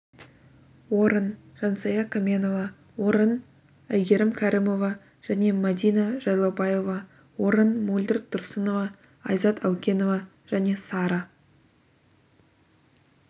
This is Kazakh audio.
орын жансая кәменова орын әйгерім кәрімова және мәдина жайлаубаева орын мөлдір тұрсынова айзат әукенова және сара